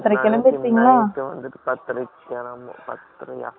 இங்க வந்துட்டு, பத்தரை யா? ஒன்பதரைக்கு கிலம்புனது